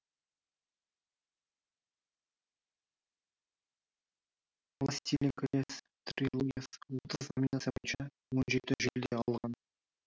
властелин колец трилогиясы отыз номинация бойынша он жеті жүлде алған